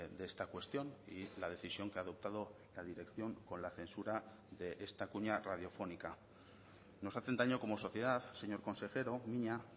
de esta cuestión y la decisión que ha adoptado la dirección con la censura de esta cuña radiofónica nos hacen daño como sociedad señor consejero mina